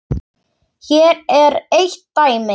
Hér er eitt dæmi.